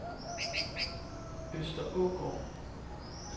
Østerågård